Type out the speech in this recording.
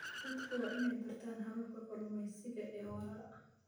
Dadku waa inay bartaan hababka kalluumeysiga ee waara.